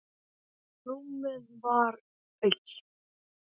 Rúmið var autt.